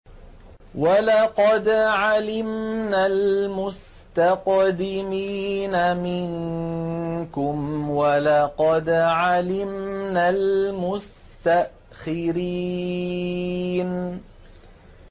وَلَقَدْ عَلِمْنَا الْمُسْتَقْدِمِينَ مِنكُمْ وَلَقَدْ عَلِمْنَا الْمُسْتَأْخِرِينَ